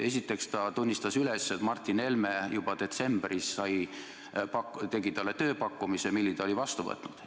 Esiteks ta tunnistas üles, et Martin Helme tegi juba detsembris talle tööpakkumise, mille ta oli vastu võtnud.